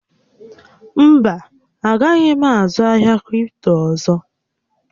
Mba, a gaghị m azụ ahịa kripto ọzọ